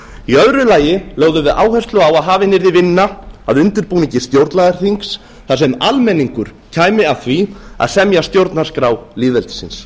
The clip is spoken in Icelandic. í öðru lagi lögðum við áherslu á að hafin yrði vinna að undirbúningi stjórnlagaþings þar sem almenningur kæmi að því að bera stjórnarskrá lýðveldisins